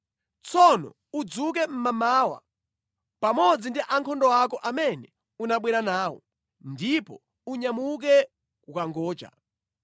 Tsono udzuke mmamawa, pamodzi ndi ankhondo ako amene unabwera nawo, ndipo unyamuke kukangocha.”